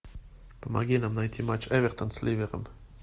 помоги нам найти матч эвертон с ливером